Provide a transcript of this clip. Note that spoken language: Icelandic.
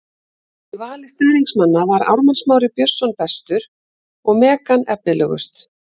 Í vali stuðningsmanna var Ármann Smári Björnsson bestur og Megan efnilegust.